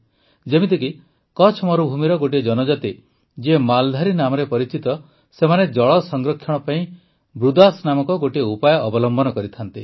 ଯେମିତିକି କଚ୍ଛ ମରୁଭୂମିର ଗୋଟିଏ ଜନଜାତି ଯିଏ ମାଲଧାରୀ ନାମରେ ପରିଚିତ ସେମାନେ ଜଳ ସଂରକ୍ଷଣ ପାଇଁ ବୃଦାସ୍ ନାମକ ଗୋଟିଏ ଉପାୟ ଅବଲମ୍ବନ କରିଥାନ୍ତି